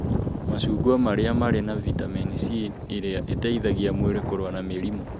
Macungwa marĩ na vitamini C ĩrĩa ĩteithagia mwĩrĩ kũrũa na mĩrimũ.